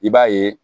I b'a ye